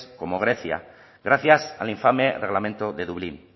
como grecia gracias al infame reglamento de dublín